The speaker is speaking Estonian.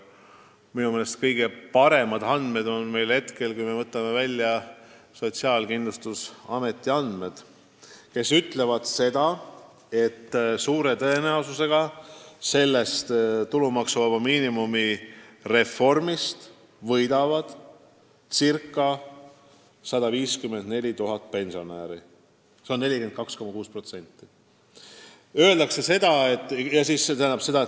Minu meelest on kõige parem, kui me võtame välja Sotsiaalkindlustusameti andmed, mis ütlevad seda, et suure tõenäosusega tulumaksuvaba miinimumiga seotud reformist võidab ca 154 000 pensionäri, see on 42,6%.